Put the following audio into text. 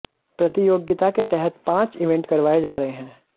प्रतियोगिता के तहत पांच इवेंट करवाए जा रहे हैं